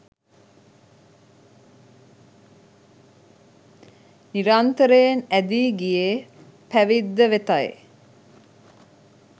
නිරන්තරයෙන් ඇදී ගියේ පැවිද්ද වෙතයි